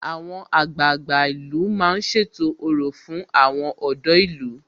Àwọn àgbààgbà ìlú ń ṣètò orò fún àwọn ọ̀dọ́ ìlú